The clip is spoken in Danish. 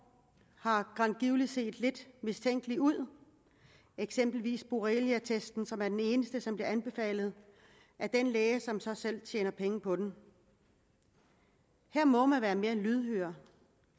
har set lidt mistænkelige ud eksempelvis boreleatesten som er den eneste der blev anbefalet af den læge som så selv tjente penge på den her må man være mere lydhør